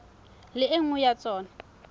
le e nngwe ya tsona